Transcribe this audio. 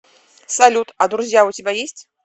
салют а друзья у тебя есть